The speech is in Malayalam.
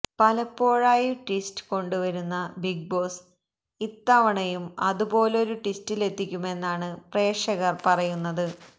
പലപ്പോഴായി ട്വിസ്റ്റ് കൊണ്ട് വരുന്ന ബിഗ് ബോസ് ഇത്തവണയും അതുപോലൊരു ട്വിസ്റ്റിലെത്തിക്കുമെന്നാണ് പ്രേക്ഷകര് പറയുന്നത്